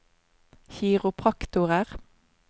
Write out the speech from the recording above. kiropraktorer